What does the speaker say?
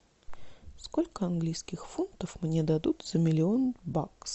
сколько английских фунтов мне дадут за миллион баксов